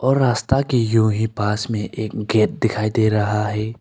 और रास्ता के यूं ही पास में एक गेट दिखाई दे रहा हैं।